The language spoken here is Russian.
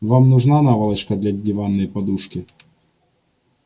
вам нужна наволочка для диванной подушки